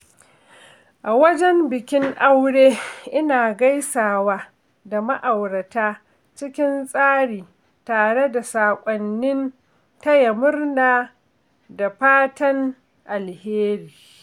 A wajen bikin aure, ina gaisawa da ma’aurata cikin tsari tare da saƙonnin taya murna da fatan alheri.